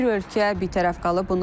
Bir ölkə bitərəf qalıb.